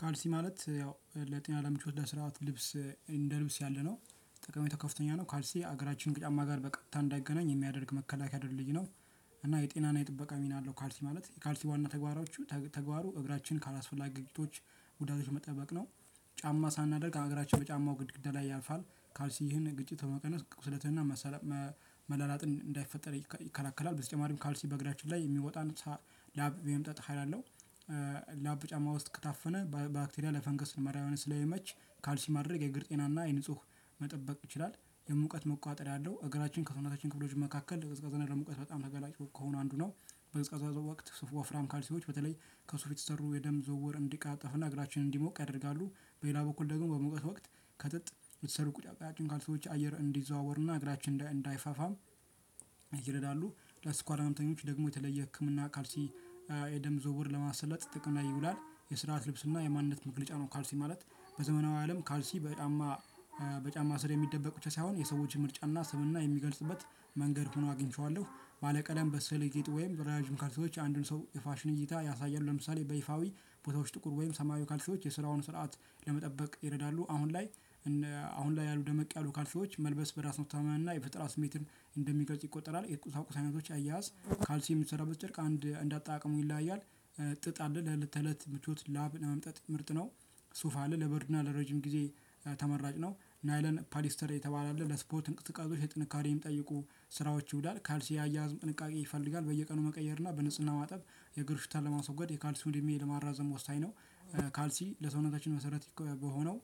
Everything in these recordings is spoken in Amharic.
ካልሲ ማለት ያው ለጤና ለምቹ ለስርዓት ልብስ እንደ ልብስ ያለነው ጠቃሚቶ ከፍተኛ ነው ካልሲ እግራችንን ጫማ ጋር በቀጥታ እንዳይገናኝ የሚያደርግ መከላከያ ድልድይ ነው። እና የጤናና የጥበቃ ሚና አለው ካልሲ ማለት። የካልሲ ዋና ተግባሩ እግራችን ካላስፈላጊ ጉዳቶች መጠበቅ ነው። ጫማ ሳናደርግ እግራችን በጫማው ግድግዳ ላይ ያልፋል። ካልሲ ይህን ግጭት በመቀነስ ቁስለትና- መላላጥ እንዳይፈጠር ይከላከላል። በተጨማሪም ካልሲ በእግራችን ላይ የሚወጣ ላብን የመምጠጥ ሀይል አለው። ላብ ጫማ ውስጥ ከታፈነ በአክቴሪያ ለፈንገስ መራብያነት ስለሚመች ካልሲ ማድረግ የእግር ጤናና የንፁህ መጠበቅ ይችላል። የሙቀት መቋጠር አለው እግራችን ከሰውነታችን ክፍሎች መካከል ለቀዝቃዛ ና ለሙቀት በጣም ተገላጭ ከሆኑት አንዱ ነው። በቀዝቃዛ ወቅት ዋፍራም ካልሲዎች በተለይ ከሱፍ የተሰሩ የደም ዝውውር እንዲቀላጠፍ ና እግራችንን እንዲሞቅ ያደርጋሉ። በሌላ በኩል ደግሞ በሙቀት ወቅት ከጥጥ የተሰሩ ቀጫጭን ካልሲዎች አየር እንዲዘዋወር ና እግራችን እንዳይፋፋም- ይረዳሉ። ለስኳር ህመምተኞች ደግሞ የተለየ ህክምና ካልሲ የደም ዝውውር ለማሰለጥ ጥቅም ላይ ይውላል። የስርዓት ልብስና የማንነት መግለጫ ነው ካልሲ ማለት። በዘመናዊ አለም ካልሲ በጫማ በጫማ ስር የሚደበቅ ብቻ ሳይሆን የሰዎች ምርጫና ስምና የሚገልጽበት። መንገድ ሆኖ አግኝቼዋለሁ። ባለቀደም በሰለጄጥ ወይም በረጃጅም ካልሲዎች አንድን ሰው የፋሽን እይታ ያሳያል። ለምሳሌ በይፋዊ ቦታዎች ጥቁር ወይም ሰማያዊ ካልሽዎች የስራውን ስርዓት ለመጠበቅ ይረዳሉ። አሁን ላይ- አሁን ላይ ያሉ ደመቅ ያሉ ካልሲዎች መልበስ በራስ መተማመን እና የፈጠራ ስሜትን እንደሚገልጽ ይቆጠራል። የቁሳቁስ አይነቶች አያያዝ ካልሲ የሚሰራበት ጨርቅ አንድ እንደ አጠቃቀሙ ይለያያል። ጥጥ አለ። ለእለት ተለት ምቾት ላብ ለመምጠጥ ምርጥ ነው። ሱፍ አለ ለበርድና ለረጅም ጊዜ ተመራጭ ነው። ናይለን ፓሊስተር የተባለ አለ ለስፖት እንቅስቃሴ ጥንካሬ የሚጠይቁ- ስራዎች ይውላል። ካልሲ የአያያዝ ጥንቃቄ ይፈልጋል። በየቀኑ መቀየር እና በንጽህና ማጠብ የእግር ሽታን ለማስወገድ የካልሲውን እድሜ ለማራዘም ወሳኝ ነው። ካልሲ ለሰውነታችን መሰረት በሆነው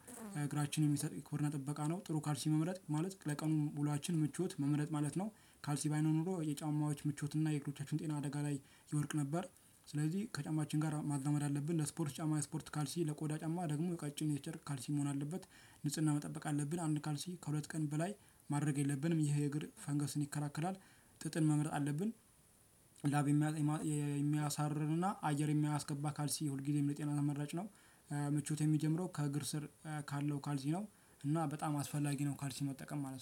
እግራችንን የሚሰጥ የክቡርና ጥበቃ ነው። ጥሩ ካልሲ መምረጥ ማለት ለቀኑ ዉሎአችን ምችት መምረጥ ማለት ነው። ካልሲ ባይኖር ኖሮ የጫማዎች ምቾትና የእግሮቻችን ጤና አደጋ ላይ ይወድቅ ነበር። ስለዚህ ከጫማችን ጋር ማዛመድ አለብን። ለስፖርት ጫማ ስፖርት ካልሲ ለቆዳ ጫማ ደግሞ ቀጭን የጨርቅ ካልሲ መሆን አለበት። ንጽህና መጠበቅ አለብን። አንድ ካልሲ ከሁለት ቀን በላይ ማድረግ የለብንም። ይሄ የእግር ፈንገስን ይከላከላል። ጥጥን መምረጥ አለብን። ላብ የሚያሳርርንና አየር የሚያስገባ ካልሲ ሁልጊዜም ለጤና ተመራጭ ነው። ምቾት የሚጀምረው ከእግር ስር ካለው ካልሲ ነው እና በጣም አስፈላጊ ነው ካልሲ መጠቀም ማለት ነው።